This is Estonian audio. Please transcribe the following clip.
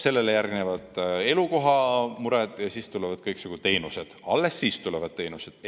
Sellele järgnevad elukohamured ja siis, alles siis tulevad kõiksugu teenused.